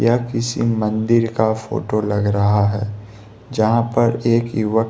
यह किसी मंदिर का फोटो लग रहा है जहां पर एक युव--